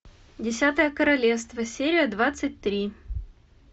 десятое королевство серия двадцать три